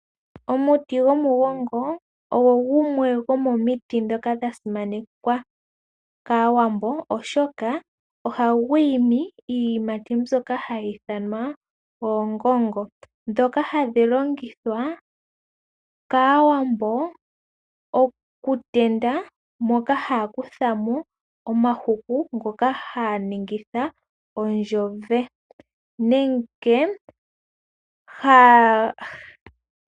Omuti gwomugongo ogo gumwe gomomiti dhoka dha simanekwa kaawambo, oshoka oha gu imi iiyimati mbyoka ha yi ithanwa oongongo. Oongongo ohadhi tendwa opo mu ze omahuku, goku ninga omagadhi, haga ithanwa onzowe.